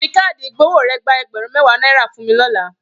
Fi káàdì ìgbowó rẹ̀ gba ẹgbẹ̀rún mẹ́wàá náírà fún mi lọ́la.